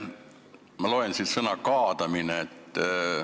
Ma loen siit sõna "kaadamine".